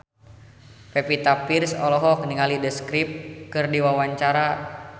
Pevita Pearce olohok ningali The Script keur diwawancara